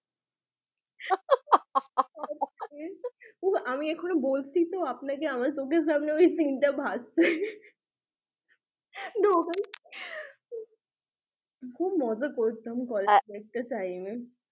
আমি আপনাকে বলছি তো আমার চোখের সামনে ওই scene ভাসছে খুব মজা করতাম কলেজে একটা time এ